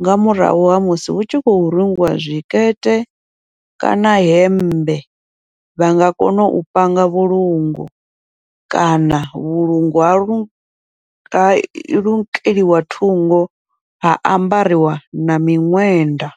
nga murahu ha musi hu tshi khou rungiwa zwikete kana hemmbe, vha nga kona u panga vhulungu kana vhulungu ha lu ha lukeliwa thungo ha ambariwa na miṅwenda.